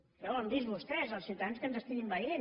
ja ho han vist vostès els ciutadans que ens estiguin veient